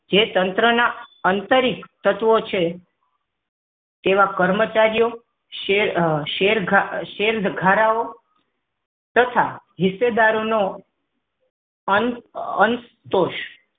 તે તંત્રના આંતરિક તત્વ છે તેવા કર્મચારીઓ શેર શેર શેર ધારાઓ તથા હિસ્સેદારો ઓનો અંત અંતશ